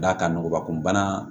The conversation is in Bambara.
D'a kan nɔgɔ kun banna